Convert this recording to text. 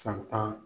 San tan